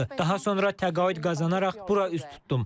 Daha sonra təqaüd qazanaraq bura üz tutdum.